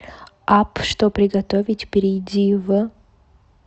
апп что приготовить перейди в